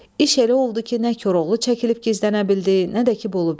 İş elə oldu ki, nə Koroğlu çəkilib gizlənə bildi, nə də ki Bolubəy.